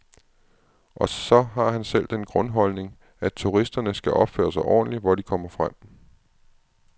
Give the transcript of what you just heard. Og så har han selv den grundholdning, at turisterne skal opføre sig ordentligt, hvor de kommer frem.